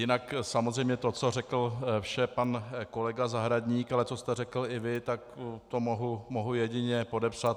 Jinak samozřejmě to, co řekl vše pan kolega Zahradník, ale co jste řekl i vy, tak to mohu jedině podepsat.